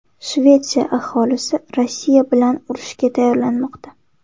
Shvetsiya aholisi Rossiya bilan urushga tayyorlanmoqda.